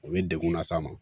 U bɛ degun las'a ma